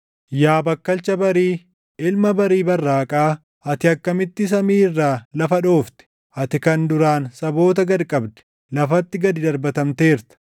Yaa bakkalcha barii, ilma barii barraaqaa, ati akkamitti samii irraa lafa dhoofte! Ati kan duraan saboota gad qabde, lafatti gad darbatamteerta!